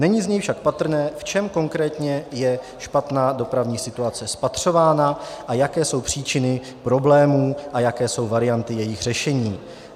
Není z něj však patrné, v čem konkrétně je špatná dopravní situace spatřována a jaké jsou příčiny problémů a jaké jsou varianty jejich řešení.